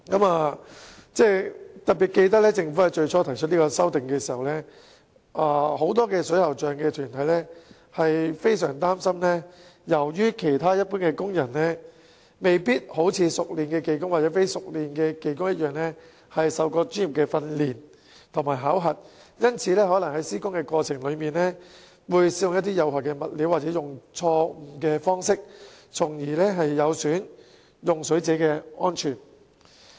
我特別記得，最初當政府提出有關修訂時，不少水喉匠團體相當擔心，因為其他一般工人未必能夠一如熟練技工或非熟練技工般受過專業訓練和考核，因此在施工過程中可能會使用有害物料或錯誤方式，因而損害用水者的安全。